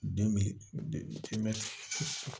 Den bɛ